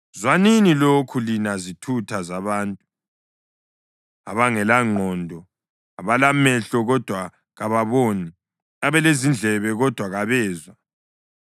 Zwanini lokhu, lina zithutha zabantu abangelangqondo, abalamehlo kodwa kababoni, abalezindlebe kodwa kabezwa: